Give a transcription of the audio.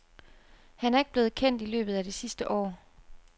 Han er ikke blevet kendt i løbet af det sidste år.